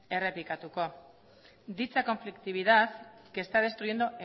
errepikatuko dicha conflictividad que está destruyendo